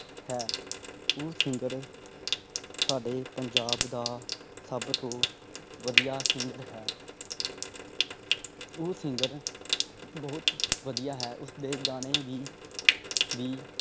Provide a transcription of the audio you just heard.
ਹੈ ਉਹ singer ਸਾਡੇ ਪੰਜਾਬ ਦਾ ਸਬ ਤੋਂ ਵਧਿਆ singer ਹੈ। ਉਹ singer ਬਹੁਤ ਵਧਿਆ ਉਸਦੇ ਗਾਣੇ ਵੀ ਵੀ